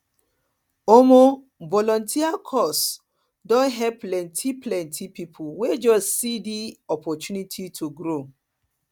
um volunteering cause don help plenty plenty people wey just see di opportunity to grow